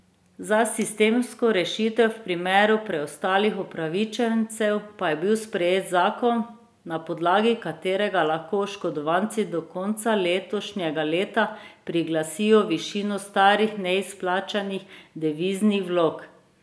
Za sistemsko rešitev v primeru preostalih upravičencev pa je bil sprejet zakon, na podlagi katerega lahko oškodovanci do konca letošnjega leta priglasijo višino starih neizplačanih deviznih vlog.